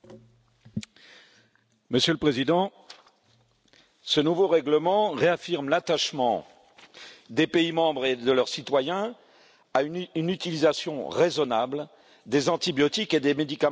Monsieur le Président, ce nouveau règlement réaffirme l'attachement des pays membres et de leurs citoyens à une utilisation raisonnable des antibiotiques et des médicaments vétérinaires en élevage.